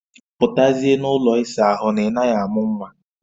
Putazie n'ụlọ isa ahụ na ị naghị amụ nwa